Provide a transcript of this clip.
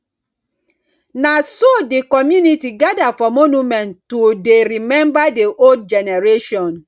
na so di community gather for monument to dey remember the old generation